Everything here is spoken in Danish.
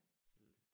Selde